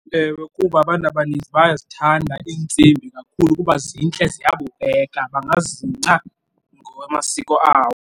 Ewe, kuba abantu abaninzi bayazithanda iintsimbi kakhulu kuba zintle ziye yabukeka bangazingca ngokwamasiko awo.